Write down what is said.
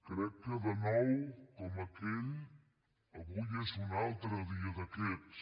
crec que de nou com aquell avui és un altre dia d’aquests